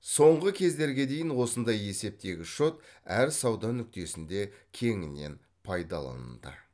соңғы кездерге дейін осындай есептегіш шот әр сауда нүктесінде кеңінен пайдаланылды